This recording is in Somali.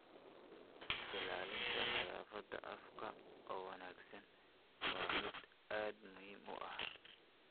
Ilaalinta nadaafadda afka oo wanaagsan waa mid aad muhiim u ah.